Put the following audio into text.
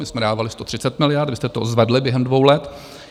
My jsme dávali 130 miliard, vy jste to zvedli během dvou let.